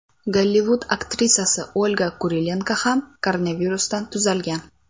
Gollivud aktrisasi Olga Kurilenko ham koronavirusdan tuzalgan.